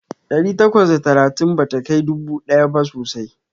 Ɗari takwas da talatin bata kai dubu ɗaya ba sosai.